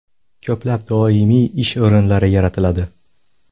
Ko‘plab doimiy ish o‘rinlari yaratiladi.